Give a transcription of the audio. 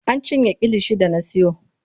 An cinye kilishin da na siyo.